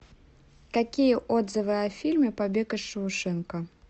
какие отзывы о фильме побег из шоушенка